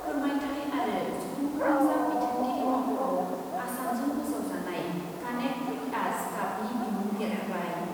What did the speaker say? फोरमायथाय आरो सुबुं फोनांजाब बिथोनगिरि मावख', आसामजों फोसावजानाय कानेक्ट विथ आस कापनि बिमुं देरहाबाय।